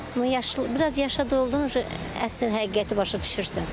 Amma yaşlı biraz yaşa doldun əsl həqiqəti başa düşürsən.